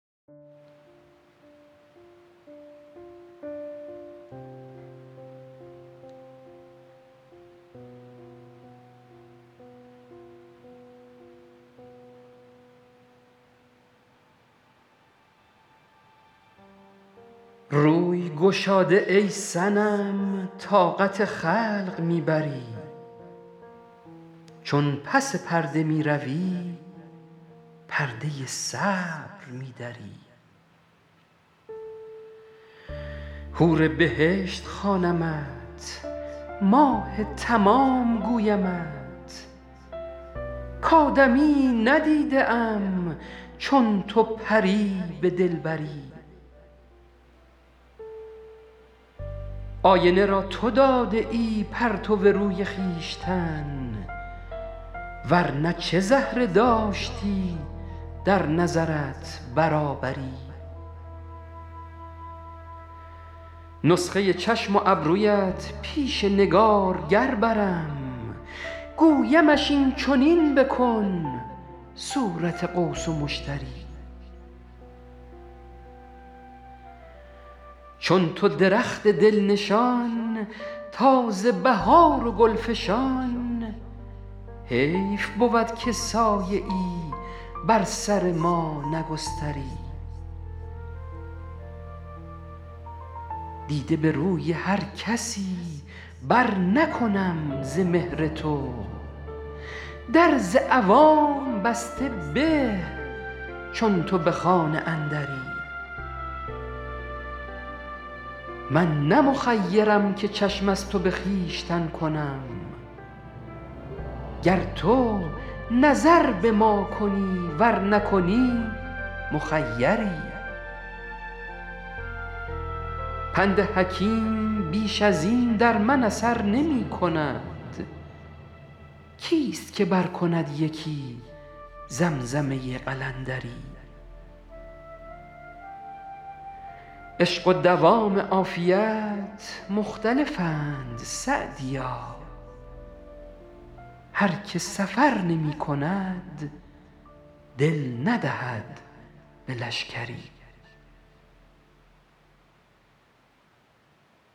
روی گشاده ای صنم طاقت خلق می بری چون پس پرده می روی پرده صبر می دری حور بهشت خوانمت ماه تمام گویمت کآدمیی ندیده ام چون تو پری به دلبری آینه را تو داده ای پرتو روی خویشتن ور نه چه زهره داشتی در نظرت برابری نسخه چشم و ابرویت پیش نگارگر برم گویمش این چنین بکن صورت قوس و مشتری چون تو درخت دل نشان تازه بهار و گل فشان حیف بود که سایه ای بر سر ما نگستری دیده به روی هر کسی برنکنم ز مهر تو در ز عوام بسته به چون تو به خانه اندری من نه مخیرم که چشم از تو به خویشتن کنم گر تو نظر به ما کنی ور نکنی مخیری پند حکیم بیش از این در من اثر نمی کند کیست که برکند یکی زمزمه قلندری عشق و دوام عافیت مختلفند سعدیا هر که سفر نمی کند دل ندهد به لشکری